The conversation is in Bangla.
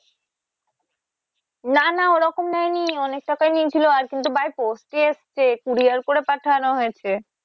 না না ওরকম নেয়নি অনেক টাকাই নিয়েছিলো আর কিন্তু by post এ এসছে courier করে পাঠানো হয়েছে।